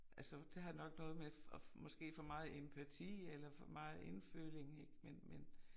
Altså det har nok noget med at måske for meget empati eller for meget indføling ik men men